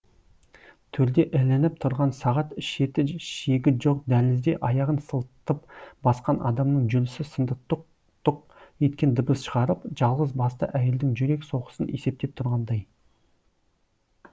төрде ілініп тұрған сағат шеті шегі жоқ дәлізде аяғын сылтып басқан адамның жүрісі сынды тық тұқ еткен дыбыс шығарып жалғыз басты әйелдің жүрек соғысын есептеп тұрғандай